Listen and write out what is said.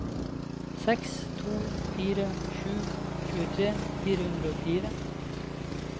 seks to fire sju tjuetre fire hundre og fire